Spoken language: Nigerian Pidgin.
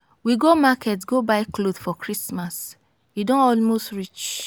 we go market go buy cloth for christmas. e don almost reach.